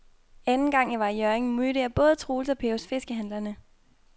Anden gang jeg var i Hjørring, mødte jeg både Troels og Per hos fiskehandlerne.